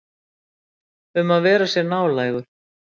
Um að vera sér nálægur.